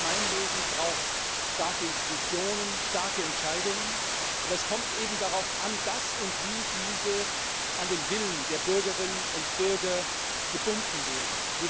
Jedes Gemeinwesen braucht starke Institutionen, starke Entscheidungen, aber es kommt eben darauf an, dass und wie diese an den Willen der Bürgerinnen und Bürger gebunden werden.